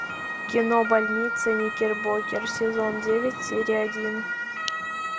кино больница никербокер сезон девять серия один